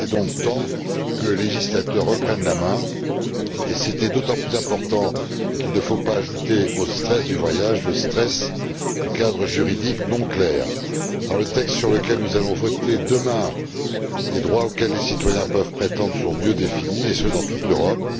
Il était donc temps que le législateur reprenne la main, et c'était d'autant plus important qu'il ne faut pas ajouter au stress du voyage le stress du cadre juridique peu clair. Dans le texte sur lequel nous allons voter demain, les droits auxquels les citoyens peuvent prétendre sont mieux définis, et ce dans toute l'Europe.